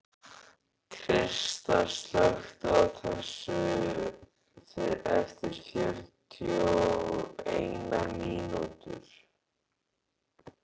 Krista, slökktu á þessu eftir fjörutíu og eina mínútur.